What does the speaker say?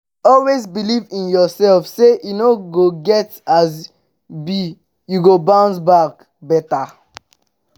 always beliv in urself say e no get as bi yu go bounce back beta